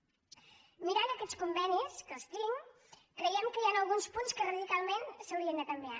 mirant aquests convenis que els tinc creiem que hi han alguns punts que radicalment s’haurien de canviar